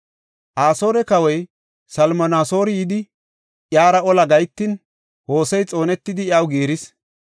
Asoore kawoy Salminasoori yidi, iyara ola gahetin, Hosey xoonetidi, iyaw giiris.